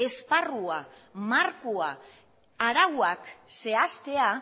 esparrua markoa arauak zehaztea